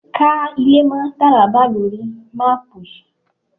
Ká ilé mọ́ Tàrábà lóri máàpù yìí.!